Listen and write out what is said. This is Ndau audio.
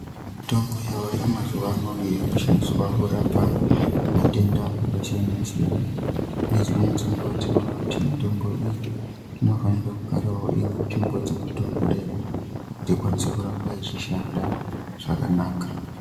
Mitombo yaayo mazuwa ano iyo inoshandiswa kurapa matenda akasiyana-siyana ngedzimweni dzenguwa tinoona kuti mitombo iyi inofanira kugarawo iri munzvinbo dzinotonhorera kuti ikwanise kuramba ichishanda zvakanaka.